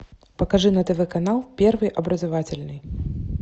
покажи на тв канал первый образовательный